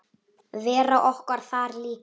Vera okkar þar líka.